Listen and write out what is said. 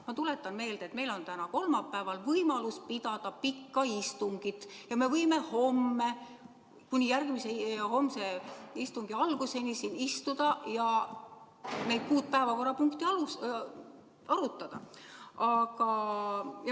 Ma tuletan meelde, et meil on täna, kolmapäeval võimalus pidada pikka istungit ja me võime kuni homse istungi alguseni siin istuda ja neid kuut päevakorrapunkti arutada.